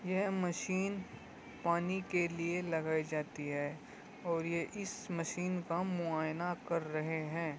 यह मशीन पानी के लिए लगाई जाती है और ये इस मशीन का मुआयना कर रहे है।